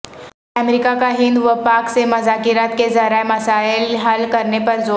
امریکا کا ہند و پاک سے مذاکرات کے ذریعہ مسائل حل کرنے پر زور